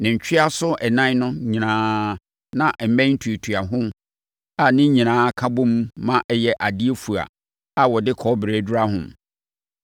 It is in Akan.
Ne ntweaso ɛnan no nyinaa na mmɛn tuatua ho a ne nyinaa ka bom ma ɛyɛ adeɛ fua a wɔde kɔbere adura ho.